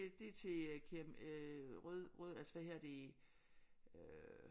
Det er til øh rød rød altså hvad hedder det øh